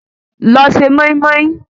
Lọ se mọ́ín-mọ́ín